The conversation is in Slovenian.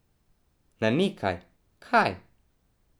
Na nekaj, kaj?